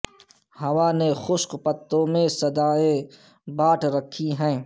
ہوا نے خشک پتوں میں صدائیں بانٹ رکھی ہیں